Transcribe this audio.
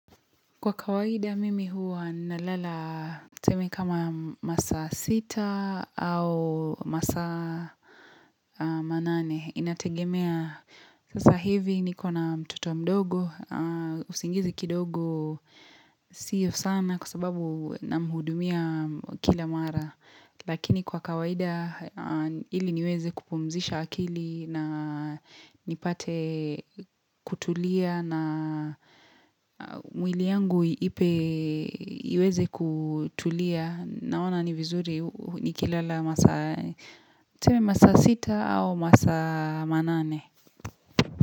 Kwa kawaida mimi huwa nalala tuseme kama masaa sita au masaa manane inategemea. Sasa hivi nikona mtoto mdogo. Usingizi kidogo sio sana kwa sababu namhudumia kila mara. Lakini kwa kawaida ili niweze kupumzisha akili na nipate kutulia na mwili yangu ipe iweze kutulia naona ni vizuri nikilala masaa masaa sita au masaa manane.